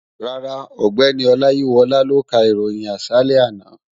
Rárá, ọ̀gbẹ́ni Ọláyíwọlá ló ka ìròyìn àṣálẹ́ àná